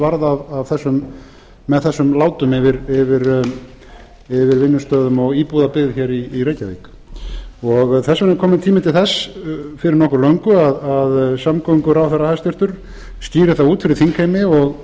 varð með þessum látum yfir vinnustöðum og íbúðabyggð yfir reykjavík þess vegna er kominn tími til þess fyrir nokkuð löngu að hæstvirtur samgönguráðherra skýri það út fyrir þingheimi og